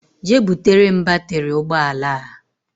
Jee butere m batiri ụgbọala a!!!!